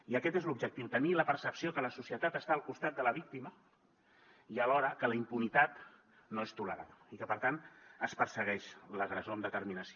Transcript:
i aquest és l’objectiu tenir la percepció que la societat està al costat de la víctima i alhora que la impunitat no és tolerada i que per tant es persegueix l’agressor amb determinació